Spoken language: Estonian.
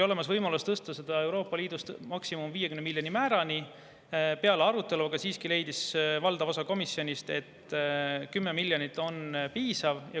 Oli võimalus tõsta seda Euroopa Liidu maksimummäärani, 50 miljonini, kuid peale arutelu leidis siiski valdav osa komisjonist, et 10 miljonit on piisav.